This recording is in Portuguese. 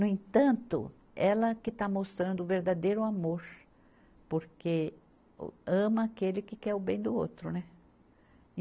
No entanto, ela que está mostrando o verdadeiro amor, porque o ama aquele que quer o bem do outro, né?